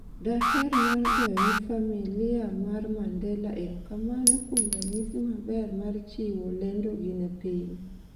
daher mar goyone famia mar Mandela erokamano kuom ranyisi maber mar chiwo lendogi ne piny